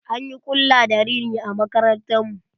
An yi ƙulla da rina a makarantar mu.